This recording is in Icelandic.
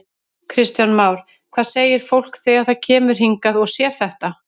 Kristján Már: Hvað segir fólk þegar það kemur hingað og sér þetta?